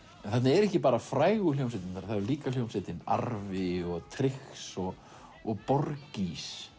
þarna eru ekki bara frægu hljómsveitirnar líka hljómsveitin arfi og trix og og